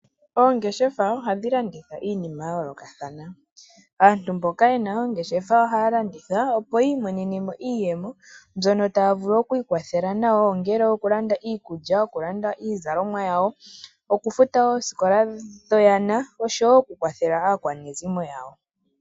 Oongeshefa ohadhi landitha iinima ya yoolokathana. Aantu mboka yena oongeshefa ohaya landitha opo yi imonene mo iiyemo mbyono taya vulu oku ikwathela nayo ongele oku landa iikulya, ongele oku landa iizalomwa yawo, oku futa oosikola dhoyana oshowo oku kwathela aakwanezimo yawo.